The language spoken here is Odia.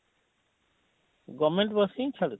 govement ବସ ହିଁ ଛାଡ଼ୁଛି?